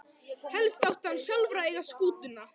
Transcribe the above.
Helst átti hann sjálfur að eiga skútuna.